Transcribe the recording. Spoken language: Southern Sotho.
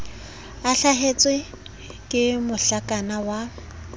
a hlasetswe ke mohlakana wa